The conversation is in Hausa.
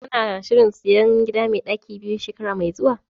Kana shirin sayan gida mai ɗaki biyu shekara mai zuwa?